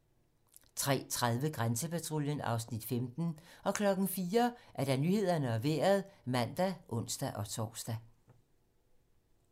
03:30: Grænsepatruljen (Afs. 15) 04:00: Nyhederne og Vejret (man og ons-tor)